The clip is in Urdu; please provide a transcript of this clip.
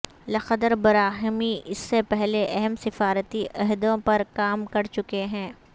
لخدر براہیمی اس سے پہلے اہم سفارتی عہدوں پر کام کر چکے ہیں